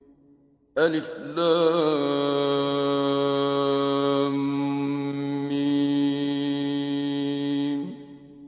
الم